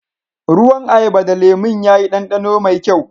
Ruwan ayaba da lemum ya yi danɗano mai kyau.